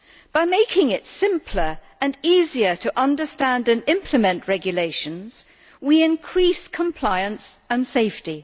By making it simpler and easier to understand and implement regulations, we increase compliance and safety.